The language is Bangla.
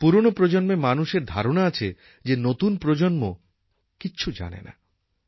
পুরনো প্রজন্মের মানুষের ধারণা আছে যে নতুন প্রজন্ম কিছু জানে না